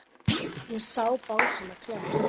Ég sá bangsana kljást.